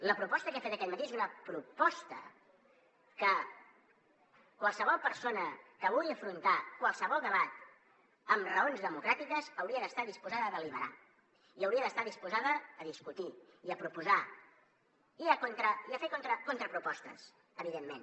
la proposta que he fet aquest matí és una proposta que qualsevol persona que vulgui afrontar qualsevol debat amb raons democràtiques hauria d’estar disposada a deliberar i hauria d’estar disposada a discutir i a proposar i a fer hi contrapropostes evidentment